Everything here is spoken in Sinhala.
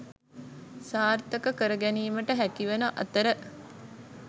සාර්ථක කර ගැනීමට හැකිවන අතර